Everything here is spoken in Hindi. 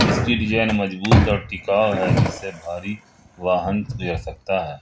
इसकी डिजाइन मजबूत और टिकाऊ है जिसे भारी वाहन भी जा सकता है।